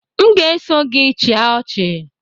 M ga-eso gị chịa ọchị